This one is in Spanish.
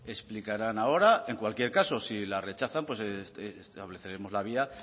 explicarán ahora en cualquier caso si la rechazan pues estableceremos la vía